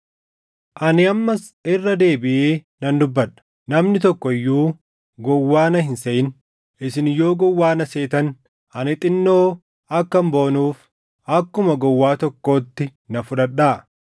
Ani ammas irra deebiʼee nan dubbadha: Namni tokko iyyuu gowwaa na hin seʼin. Isin yoo gowwaa na seetan ani xinnoo akkan boonuuf akkuma gowwaa tokkootti na fudhadhaa.